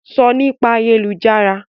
Sọ Nípa ayélujára!